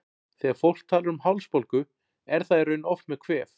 Þegar fólk talar um hálsbólgu er það í raun oft með kvef.